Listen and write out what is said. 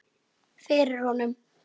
Fyrir honum.